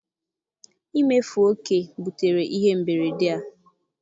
imefu oke butere ihe mberede a.